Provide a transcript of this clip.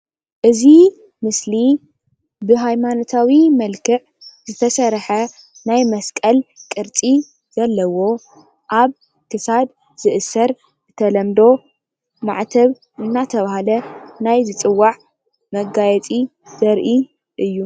እዚ ምስሊ ብሃይማኖታዊ መልክዕ ዝተሰርሐ ናይ መስቀል ቅርፂ ዘለዎ ፣ አብ ክሳድ ዝእሰር ፣ብተለምዶ ማዕተብ እናተብሃለ ናይ ዝፅዋዕ መጋየፂ ዘርኢ እዩ፡፡